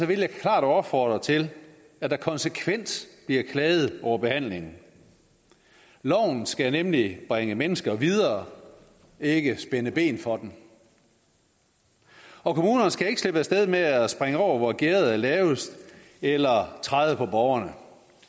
vil jeg klart opfordre til at der konsekvent bliver klaget over behandlingen loven skal nemlig bringe mennesker videre ikke spænde ben for dem kommunerne skal ikke slippe af sted med at springe over hvor gærdet er lavest eller træde på borgerne